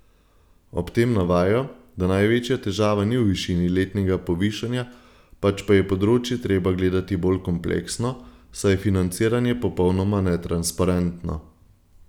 Ob tem navajajo, da največja težava ni v višini letnega povišanja, pač pa je področje treba gledati bolj kompleksno, saj je financiranje popolnoma netransparentno.